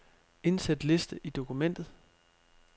Indsæt liste i dokumentet.